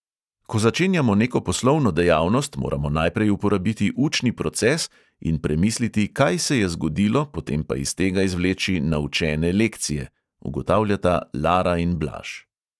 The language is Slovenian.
"Ko začenjamo neko poslovno dejavnost, moramo najprej uporabiti učni proces in premisliti, kaj se je zgodilo, potem pa iz tega izvleči naučene lekcije," ugotavljata lara in blaž.